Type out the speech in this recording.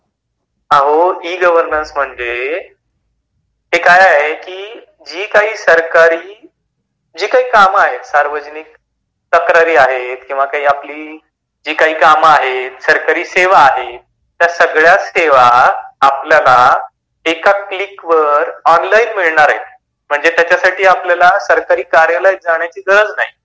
अहो e -governance म्हणजे ते काय आहे की जी काही सरकारी कामे आहेत. सार्वजनिक तक्रारी आहेत. किंवा जी काही आपली कामे आहेत किंवा सरकारी सेवा आहेत त्या सगळ्या सेवा आपल्याला एका क्लिक वर ऑनलाइन मिळणार आहेत म्हणजे त्याच्यासाठी आपल्याला सरकारी कार्यालयात जाण्याची गरज नाही.